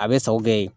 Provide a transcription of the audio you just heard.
A bɛ sa u bɛ yen